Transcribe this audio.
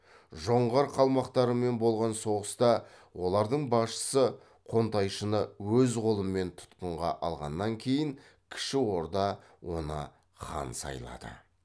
жоңғар қалмақтарымен болған соғыста олардың басшысы қонтайшыны өз қолымен тұтқынға алғаннан кейін кіші орда оны хан сайлады